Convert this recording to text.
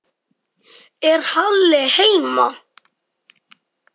Er Halli heima?